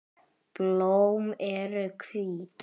Blóm eru hvít.